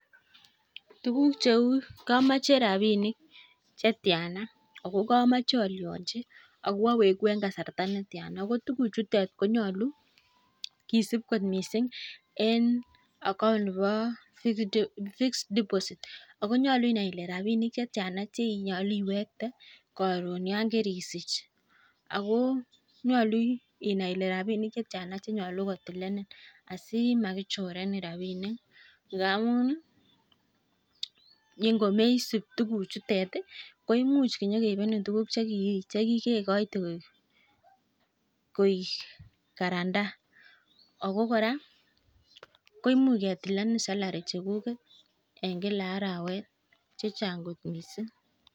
Tukuk cheu, kamache rapinik chetiana, ako kamache alionchi ako awegu eng kasarta netiana. Ko tukuchutet ko nyolu kisip kot mising eng account nebo fixed deposit. Ako nyolu inai ile rapinik chetiana cheinyolu iwekte yon karisich. Ako nyolu inai ile rapinik che tiana che nyolu kotilenen asimakichorenen rapinik. Ngamun ningomeisip tukuchutet komuch karon nyikeipenen tukuk che kikekoite koek garanter. Ako kora kemuch ketilenen salary chekuget eng kila arawet chechan'g kot mising.